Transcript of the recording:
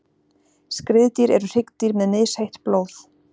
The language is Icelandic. skriðdýr eru hryggdýr með misheitt blóð